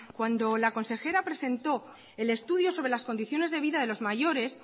cuando la consejera presentó el estudio sobre las condiciones de vida de los mayores